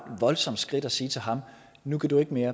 voldsomt skridt at sige til ham nu kan du ikke mere